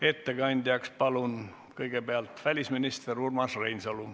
Ettekandjaks palun kõigepealt välisminister Urmas Reinsalu.